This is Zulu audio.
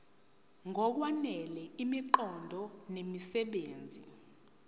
ngokwanele imiqondo nemisebenzi